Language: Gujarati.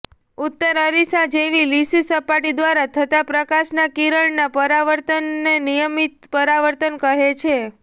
ઉત્તરઃ અરીસા જેવી લીસી સપાટી દ્વારા થતા પ્રકાશના કિરણના પરાવર્તનને નિયમિત પરાવર્તન કહે છે